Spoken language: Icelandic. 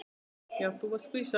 Já, þú varst skvísa.